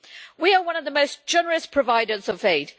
We are one of the most generous providers of aid.